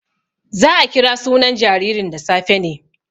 Za a kira sunan jaririn da safe ne.